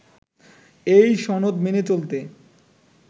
এই সনদ মেনে চলতে